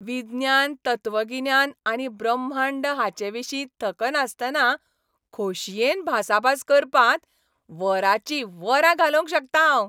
विज्ञान, तत्वगिन्यान आनी ब्रह्मांड हांचेविशीं थकनासतना खोशयेन भासाभास करपांत वरांचीं वरां घालोवंक शकतां हांव.